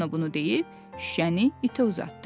Çipollino bunu deyib şüşəni itə uzatdı.